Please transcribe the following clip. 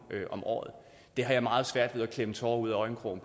om året det har jeg meget svært ved at klemme tårer ud af øjenkrogen